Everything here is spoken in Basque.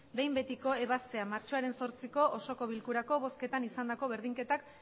behin betiko ebazpena martxoaren zortziko osoko bilkurako bozketan izandako berdinketak